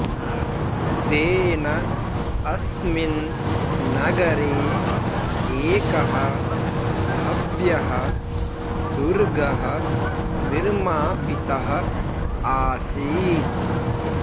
तेन अस्मिन् नगरे एकः भव्यः दुर्गः निर्मापितः आसीत्